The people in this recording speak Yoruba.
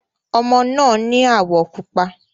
Ọmọ náà ni áwọ̀ pupa.